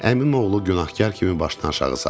Əmim oğlu günahkar kimi başını aşağı saldı.